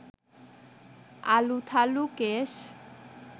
আলুথালু কেশ